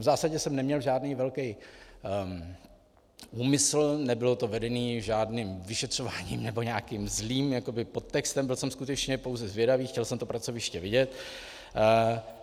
V zásadě jsem neměl žádný velký úmysl, nebylo to vedené žádným vyšetřováním nebo nějakým zlým podtextem, byl jsem skutečně pouze zvědavý, chtěl jsem to pracoviště vidět.